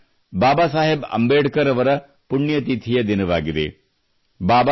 ಈ ದಿನ ಬಾಬಾ ಸಾಹೇಬ್ ಅಂಬೇಡ್ಕರ್ ಅವರ ಪುಣ್ಯತಿಥಿಯ ದಿನವಾಗಿದೆ